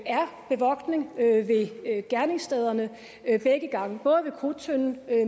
er bevogtning ved gerningsstederne begge gange ikke bare ved krudttønden